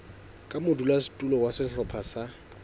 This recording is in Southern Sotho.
ka modulasetulo wa sehlopha sa